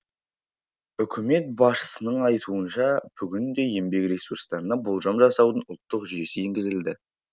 үкімет басшысының айтуынша бүгінде еңбек ресурстарына болжам жасаудың ұлттық жүйесі енгізілді